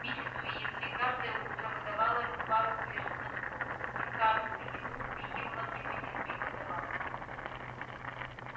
миссис уизли каждое утро выдавала ему пару свежих носков и в каждую еду впихивала в него несколько добавок